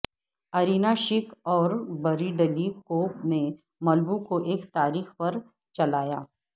Irina Shayk اور Bradley Cooper نے Malibu کو ایک تاریخ پر چلایا